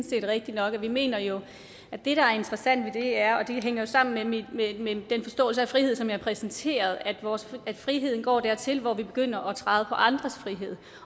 set rigtigt nok vi mener jo at det der er interessant ved det er og det hænger jo sammen med den forståelse af frihed som jeg præsenterede at friheden går dertil hvor man begynder at træde på andres frihed